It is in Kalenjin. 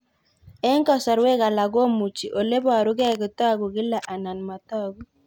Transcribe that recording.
Eng' kasarwek alak komuchi ole parukei kotag'u kila anan matag'u